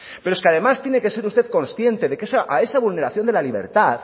pero es que además tiene que ser usted consciente de que a esa vulneración de la libertad